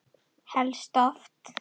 Helst oft!